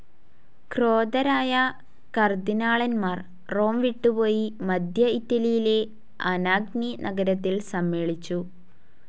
ക്രോധരായ കാർദിനാളന്മാർ റോം വിട്ടുപോയി മധ്യ ഇറ്റലിയിലെ അനാഗ്നി നഗരത്തിൽ സമ്മേളിച്ചു.